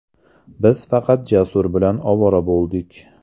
Biz faqat Jasur bilan ovora bo‘ldik.